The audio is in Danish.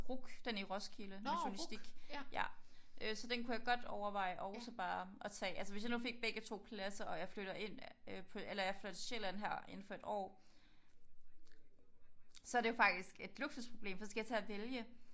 RUC den i Roskilde med journalistik. Ja øh så den kunne jeg godt overveje og så bare og tage altså hvis jeg nu fik begge to pladser og jeg flytter ind eller jeg flytter til Sjælland her indenfor et år så er det jo faktisk et luksusproblem for så skal jeg til at vælge